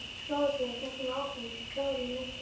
Skólastjórinn hélt nú áfram, klár í næstu lotu.